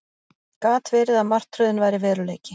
Gat verið að martröðin væri veruleiki?